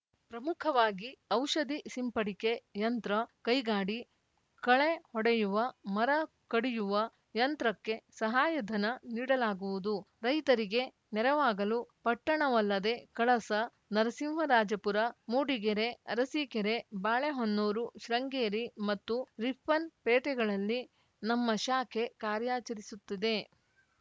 ಪ್ರಮುಖವಾಗಿ ಔಷಧಿ ಸಿಂಪಡಿಕೆ ಯಂತ್ರ ಕೈಗಾಡಿ ಕಳೆಹೊಡೆಯುವ ಮರ ಕಡಿಯುವ ಯಂತ್ರಕ್ಕೆ ಸಹಾಯಧನ ನೀಡಲಾಗುವುದು ರೈತರಿಗೆ ನೆರವಾಗಲು ಪಟ್ಟಣವಲ್ಲದೆ ಕಳಸ ನರಸಿಂಹರಾಜಪುರ ಮೂಡಿಗೆರೆ ಅರಸೀಕೆರೆ ಬಾಳೆಹೊನ್ನೂರು ಶೃಂಗೇರಿ ಮತ್ತು ರಿಪ್ಪನ್‌ಪೇಟೆಗಳಲ್ಲಿ ನಮ್ಮ ಶಾಖೆ ಕಾರ್ಯಾಚರಿಸುತ್ತಿದೆ